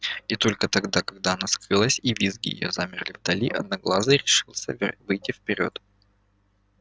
и только тогда когда она скрылась и визги её замерли вдали одноглазый решился выйти вперёд